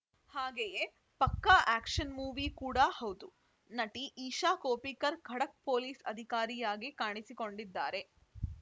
ಹಾಗೆಯೇ ಪಕ್ಕಾ action movie ಕೂಡ ಹೌದು ನಟಿ ಇಶಾ ಕೊಪ್ಪಿಕರ್‌ ಖಡಕ್‌ ಪೊಲೀಸ್‌ ಅಧಿಕಾರಿಯಾಗಿ ಕಾಣಿಸಿಕೊಂಡಿದ್ದಾರೆ